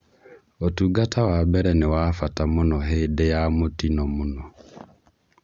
ũtungata wa mbere nĩ wa mbata mũno hĩndĩ ya mũtino mũno